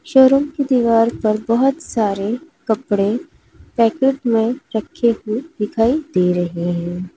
Showroom की दीवार पर बहोत सारे कपड़े पैकेट में रखे हुए दिखाई दे रहे हैं।